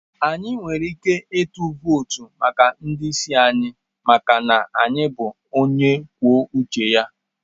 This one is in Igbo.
Anyị nwere ike ịtụ vootu maka ndị isi anyị maka na anyị bụ onye kwuo uche ya.